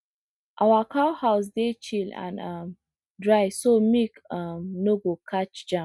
our cow house dey chill and um dry so milk um no go catch germ